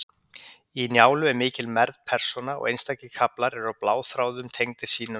Í Njálu er mikil mergð persóna, og einstakir kaflar eru bláþráðum tengdir sín á milli.